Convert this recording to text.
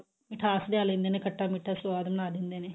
ਮਿਠਾਸ ਲਿਆ ਲੇਂਦੇ ਨੇ ਖੱਟਾ ਮਿੱਠਾ ਸੁਵਾਦ ਬਣਾ ਲੇਂਦੇ ਨੇ